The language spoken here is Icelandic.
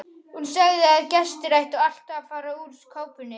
Hún sagði að gestir ættu alltaf að fara úr kápunni.